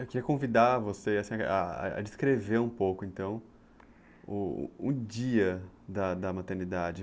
Eu queria convidar você a descrever um pouco, então, o dia da maternidade.